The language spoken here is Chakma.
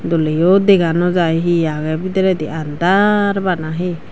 dole o dega nw jiy he agey bidiredi aandar bana he.